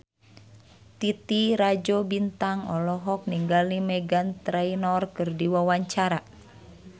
Titi Rajo Bintang olohok ningali Meghan Trainor keur diwawancara